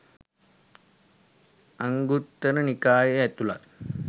අංගුත්තර නිකායේ ඇතුළත්